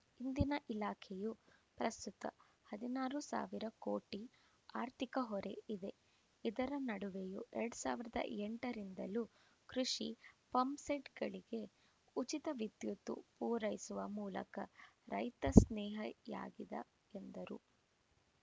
ಇಂದನ ಇಲಾಖೆಯು ಪ್ರಸ್ತುತ ಹದಿನಾರು ಸಾವಿರ ಕೋಟಿ ಆರ್ಥಿಕ ಹೊರೆ ಇದೆ ಇದರ ನಡುವೆಯೂ ಎರಡ್ ಸಾವಿರದ ಎಂಟರಿಂದಲೂ ಕೃಷಿ ಪಂಪ್‌ಸೆಟ್‌ಗಳಿಗೆ ಉಚಿತ ವಿದ್ಯುತ್‌ ಪೂರೈಸುವ ಮೂಲಕ ರೈತ ಸ್ನೇಹಯಾಗಿದೆ ಎಂದರು